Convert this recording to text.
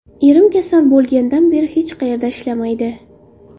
Erim kasal bo‘lgandan beri hech qayerda ishlamaydi.